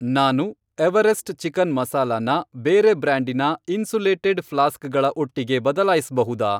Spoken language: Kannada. ನಾನು ಎವರೆಸ್ಟ್ ಚಿಕನ್ ಮಸಾಲಾನ ಬೇರೆ ಬ್ರ್ಯಾಂಡಿನ ಇನ್ಸುಲೇಟೆಡ್ ಫ್ಲಾಸ್ಕ್ಗಳ ಒಟ್ಟಿಗೆ ಬದಲಾಯಿಸ್ಬಹುದಾ?